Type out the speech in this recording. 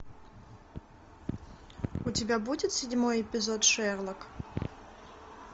у тебя будет седьмой эпизод шерлок